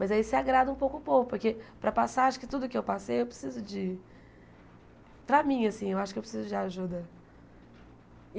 Mas aí se agrada um pouco o povo, porque para passar, acho que tudo que eu passei, eu preciso de... Para mim, assim, eu acho que eu preciso de ajuda.